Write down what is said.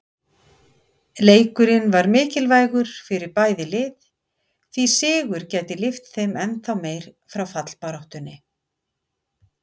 Leikurinn var mikilvægur fyrir bæði lið, því sigur gæti lyft þeim ennþá meir frá fallbaráttunni.